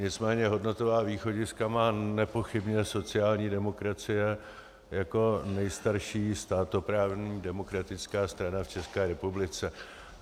Nicméně hodnotová východiska má nepochybně sociální demokracie jako nejstarší státoprávní demokratická strana v České republice.